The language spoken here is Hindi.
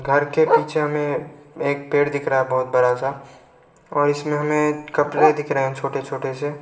घर के पीछे हमें एक पेड़ दिख रहा है बहोत बड़ा सा और इसमें हमें कपरे दिख रहे हैं छोटे छोटे से।